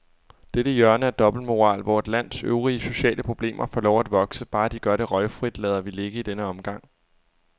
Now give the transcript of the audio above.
Dette hjørne af dobbeltmoral, hvor et lands øvrige sociale problemer får lov at vokse, bare de gør det røgfrit, lader vi ligge i denne omgang.